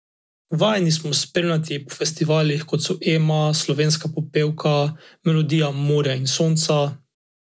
Vajeni smo jo spremljati po festivalih, kot so Ema, Slovenska popevka, Melodije morja in sonca ...